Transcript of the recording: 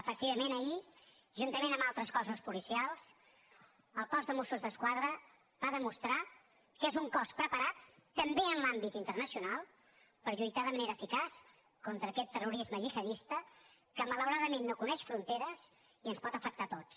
efectivament ahir juntament amb altres cossos policials el cos de mossos d’esquadra va demostrar que és un cos preparat també en l’àmbit internacional per lluitar de manera eficaç contra aquest terrorisme gihadista que malauradament no coneix fronteres i ens pot afectar a tots